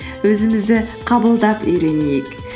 өзімізді қабылдап үйренейік